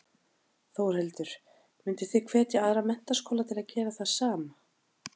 Þórhildur: Mynduð þið hvetja aðra menntaskóla til að gera það sama?